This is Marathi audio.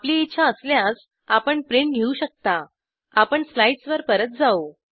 आपली इच्छा असल्यास आपण प्रिंट घेऊ शकता आपण स्लाइड्स वर परत जाऊ